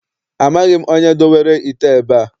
Amaghị m onye dowere ite a ebe a.